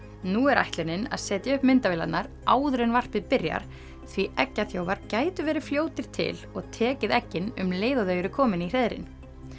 nú er ætlunin að setja upp myndavélarnar áður en varpið byrjar því gætu verið fljótir til og tekið eggin um leið og þau eru komin í hreiðrin